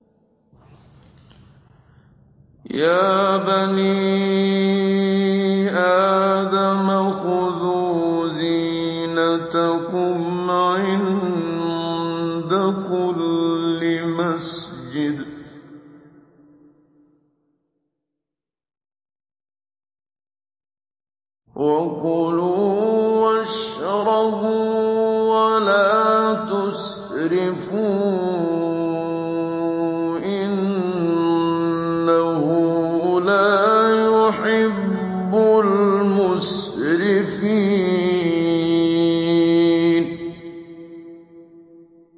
۞ يَا بَنِي آدَمَ خُذُوا زِينَتَكُمْ عِندَ كُلِّ مَسْجِدٍ وَكُلُوا وَاشْرَبُوا وَلَا تُسْرِفُوا ۚ إِنَّهُ لَا يُحِبُّ الْمُسْرِفِينَ